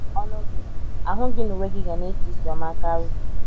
Ọnụ gị, ahụ gị na uwe gị ga na - esi ísì ọma karị.